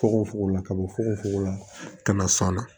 Fugofugo la ka bɔ fogofogo la ka na san na